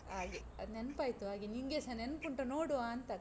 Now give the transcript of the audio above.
ಹಾಗೆ, ಅದ್ ನೆನ್ಪಾಯ್ತು. ಹಾಗೆ ನಿಂಗೆಸ ನೆನಪುಂಟಾ ನೋಡುವಾಂತ?